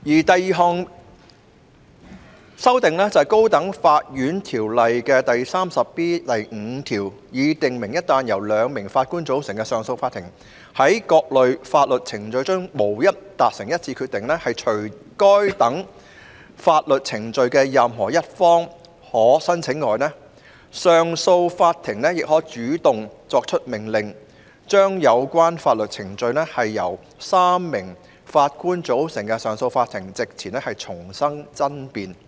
第二項是修訂《條例》第 34B5 條，以訂明一旦由"兩名法官組成的上訴法庭"在各類法律程序中無法達成一致決定，除該等法律程序的任何一方可申請外，上訴法庭亦可主動作出命令，將有關法律程序在由"三名法官組成的上訴法庭"席前重新爭辯。